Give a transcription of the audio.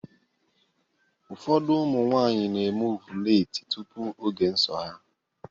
Ụfọdụ ụmụ nwaanyị na-eme ọvụletị tupu oge nsọ ha.